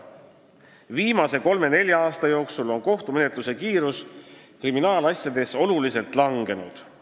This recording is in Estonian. Viimase kolme-nelja aasta jooksul on kohtumenetluse kiirus kriminaalasjades oluliselt langenud.